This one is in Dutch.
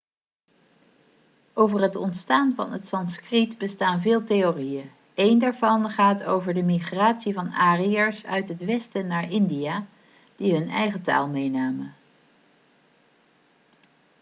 over het ontstaan van het sanskriet bestaan veel theorieën een daarvan gaat over de migratie van ariërs uit het westen naar india die hun eigen taal meenamen